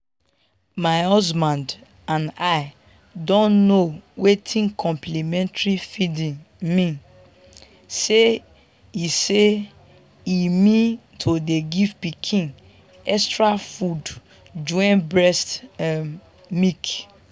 my husband and i don know wetin complementary feeding mean say e say e mean to dey give pikin extra food join breast um milk.